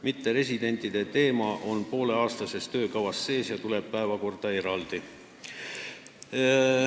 Mitteresidentide teema on pooleaastases töökavas sees ja tuleb eraldi päevakorda.